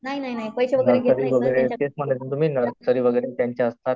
Nursery वगैरे त्यांच्या असतात.